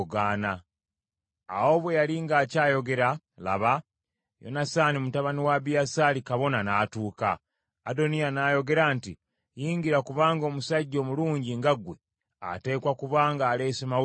Awo bwe yali ng’akyayogera laba, Yonasaani mutabani wa Abiyasaali kabona n’atuuka. Adoniya n’ayogera nti, “Yingira kubanga omusajja omulungi nga ggwe ateekwa kuba ng’aleese mawulire malungi.”